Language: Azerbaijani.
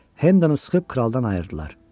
Hendonu sıxıb kraldan ayırdılar.